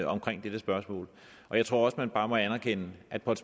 omkring dette spørgsmål og jeg tror at man bare må anerkende at på et